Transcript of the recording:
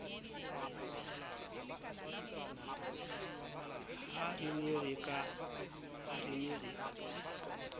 ha re ne re ka